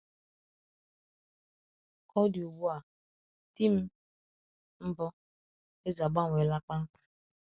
Ka ọ dị ugbu a, di m mbụ, Eze, agbanweela kpamkpam.